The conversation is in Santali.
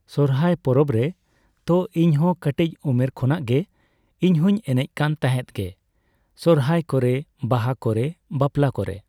ᱥᱚᱨᱦᱟᱭ ᱯᱚᱨᱚᱵ ᱨᱮ ᱾ ᱛᱚ ᱤᱧ ᱦᱚᱸ ᱠᱟᱹᱴᱤᱡ ᱩᱢᱮᱨ ᱠᱷᱚᱱᱟᱜ ᱜᱮ, ᱤᱧᱦᱚᱸᱧ ᱮᱱᱮᱡ ᱠᱟᱱ ᱛᱟᱦᱮᱸᱫ ᱜᱮ᱾ ᱥᱚᱨᱦᱟᱭ ᱠᱚᱨᱮ, ᱵᱟᱦᱟ ᱠᱚᱨᱮ, ᱵᱟᱯᱞᱟ ᱠᱚᱨᱮ᱾